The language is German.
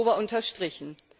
8. Oktober unterstrichen.